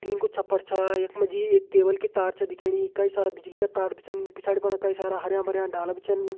Tin को छ्प्पर छा यख मा जी एक केवल की तार च दिखेणी कई सारा बिजली का तार भी छन पिछाड़ी फण कई सारा हर्या-भर्या डाला भी छन।